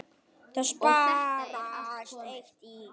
Það sparast eitt í.